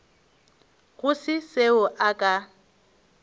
go se seo a ka